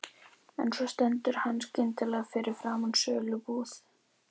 En svo stendur hann skyndilega fyrir framan sölubúð